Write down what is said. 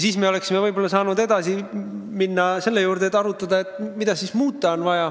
Siis me oleksime võib-olla saanud edasi minna, arutada, mida on vaja muuta.